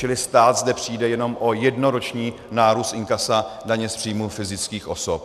Čili stát zde přijde jenom o jednoroční nárůst inkasa daně z příjmů fyzických osob.